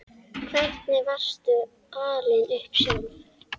Hvernig varstu alin upp sjálf?